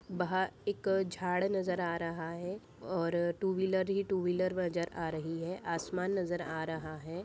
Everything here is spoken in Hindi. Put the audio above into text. बाहर एक झाड़ नजर आ रहा है और टू व्हीलर ही व्हीलर नजर आ रही है आसमान नजर आ रहा है।